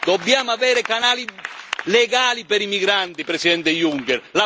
Dobbiamo avere canali legali per i migranti, Presidente Juncker.